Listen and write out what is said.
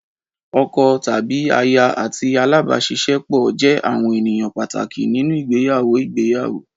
Ọkọ tàbí aya àti alábàáṣiṣẹ́pọ̀ jẹ́ àwọn ènìyàn pàtàkì nínú ìgbéyàwó ìgbéyàwó.